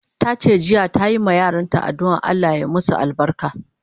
Tace jiya ta yi ma yaran ta adduan Allah ya masu albarka